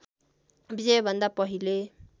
विजयभन्दा पहिले